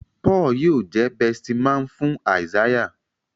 Paul yíò jé besti man fún Isaiah